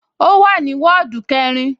Ó wà ní wọ́ọ̀dù kẹrin